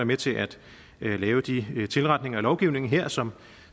med til at lave de tilretninger af lovgivningen her som